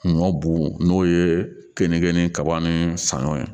Ɲɔ bugu n'o ye keninke ni kaba ni saɲɔ ye